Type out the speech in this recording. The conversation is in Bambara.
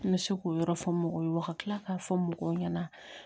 N bɛ se k'o yɔrɔ fɔ mɔgɔw ye wa kila k'a fɔ mɔgɔw ɲɛna